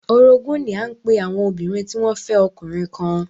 Orogún ní à ń pe àwọn obìnrin tí wọ́n fẹ́ ọkùnrin kan